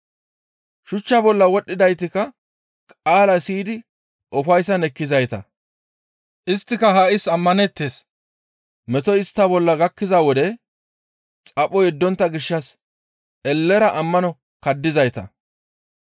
Shuchcha bolla wodhdhidaytikka qaala siyidi ufayssara ekkizayta; isttika ha7is ammaneettes attiin metoy istta bolla gakkiza wode xapho yeddontta gishshas ellera ammano kaddizayta.